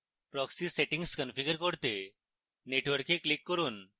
proxy settings configure করতে network এ click করুন